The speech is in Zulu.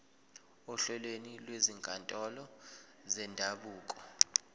ohlelweni lwezinkantolo zendabuko